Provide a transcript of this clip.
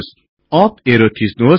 up arrow थिच्नुहोस्